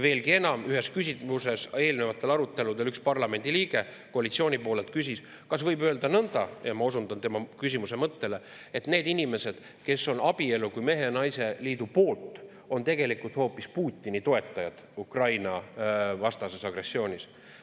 Veelgi enam, eelnevatel aruteludel üks parlamendiliige koalitsiooni poolelt küsis, kas võib öelda nõnda – ma osundan tema küsimuse mõttele –, et need inimesed, kes on abielu kui mehe ja naise liidu poolt, on tegelikult hoopis Putini toetajad Ukraina-vastases agressioonis.